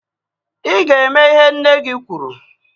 I ga e me ihe nne gị kwuru